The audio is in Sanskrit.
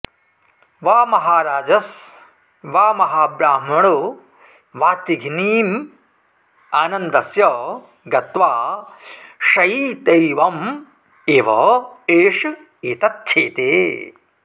वा महाराजस् वा महाब्राह्मणो वाऽतिघ्नीमानन्दस्य गत्वा शयीतैवमेवैष एतच्छेते